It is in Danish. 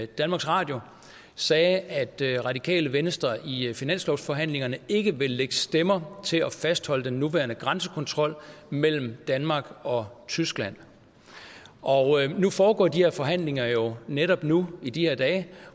danmarks radio sagde at det radikale venstre i finanslovsforhandlingerne ikke vil lægge stemmer til at fastholde den nuværende grænsekontrol mellem danmark og tyskland nu foregår de her forhandlinger jo netop nu i de her dage